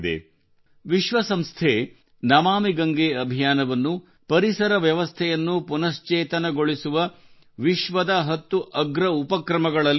ವಿಶ್ವಸಂಸ್ಥೆಯು ನಮಾಮಿ ಗಂಗೆ ಅಭಿಯಾನವನ್ನು ಪರಿಸರ ವ್ಯವಸ್ಥೆಯನ್ನು ಪುನಶ್ಚೇತನಗೊಳಿಸುವ ವಿಶ್ವದ ಹತ್ತು ಅಗ್ರ ಉಪಕ್ರಮಗಳಲ್ಲಿ ಸೇರಿಸಿದೆ